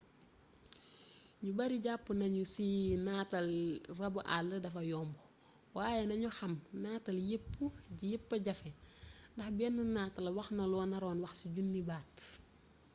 ñu bari jàpp nañu ci natal rabu àll dafa yomb waaye nañu xam nataal yépp a jafee ndax benn nataal waxna loo naroon wax ci junniy baat